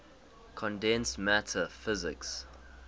condensed matter physics